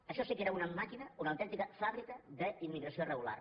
això sí que era una màquina una au·tèntica fàbrica d’immigració irregular